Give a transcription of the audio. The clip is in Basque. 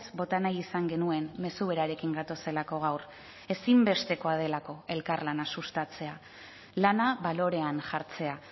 bota nahi izan genuen mezu berarekin gatozelako gaur ezinbestekoa delako elkarlana sustatzea lana balorean jartzea